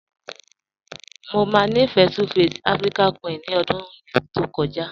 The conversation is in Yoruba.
Mọ máa nífẹ́ 2face African Queen ní ọ̀dún yẹn tí o jadẹ̀.